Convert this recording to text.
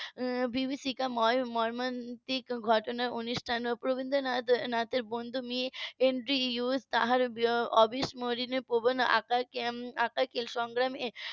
এক বিভীষিকা ময় মর্মান্তিক ঘটনার . তার অবিসরণীয় প্রবন্ধ . সংগ্রামে